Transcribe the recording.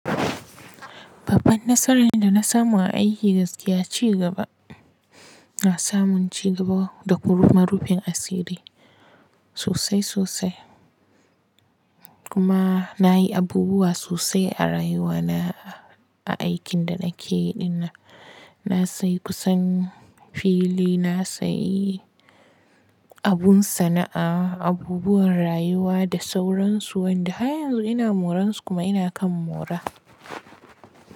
Babban nasaran da na samu a aiki gaskiya ci gaba. Na samu ci gaba da kuruma rufin asiri sosai sosai. Kuma na yi abubuwa sosai a rayuwa na, a aikin da na ke ɗin nan. Na sayi kusan fili, na sayi abun sana'a, abubuwan rayuwa da sauransu. Wanda har yanzu ina moran su kuma ina kan mora.